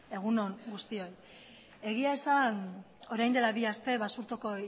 egun on guztioi egia esan orain dela bi aste basurtoko